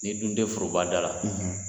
Ni dun tɛ foroba da la